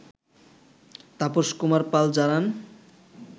তাপস কুমার পাল জানান